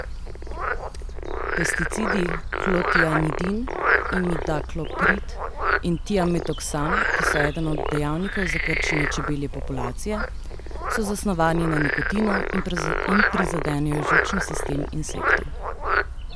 Pesticidi klotianidin, imidakloprid in tiametoksam, ki so eden od dejavnikov za krčenje čebelje populacije, so zasnovani na nikotinu in prizadenejo živčni sistem insektov.